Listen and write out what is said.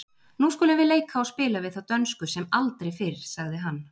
Nú skulum við leika og spila við þá dönsku sem aldrei fyrr, sagði hann.